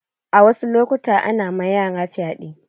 A wasu lokutan ana ma yara fyaɗe.